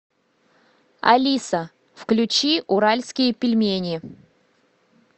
алиса включи уральские пельмени